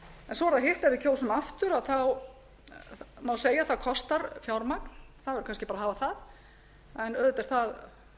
svo er það hitt ef við kjósum aftur að þá má segja að það kostar fjármagn það verður kannski bara að hafa það en auðvitað er það